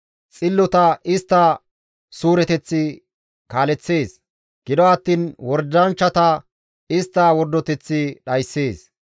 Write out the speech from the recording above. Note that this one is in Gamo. Xillota istta suureteththi kaaleththees; gido attiin wordanchchata istta wordoteththi dhayssees.